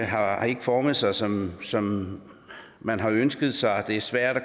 har ikke formet sig som som han har ønsket sig og det er svært